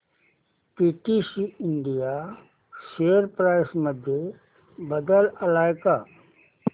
PTC India share price मध्ये बदल आलाय का